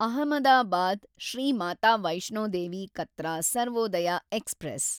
Ahmedabad, Shri Mata Vaishno Devi Katra Sarvodaya express